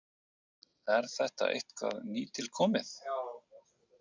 Er þetta eitthvað nýtilkomið?